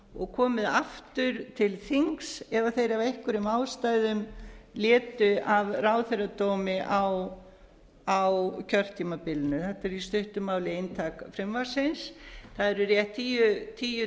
og komið aftur til þings ef þeir af einhverjum ástæðum létu af ráðherradómi á kjörtímabilinu þetta er í stuttu máli inntak frumvarpsins það eðli rétt tíu